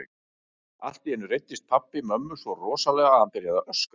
Allt í einu reiddist pabbi mömmu svo rosalega að hann byrjaði að öskra.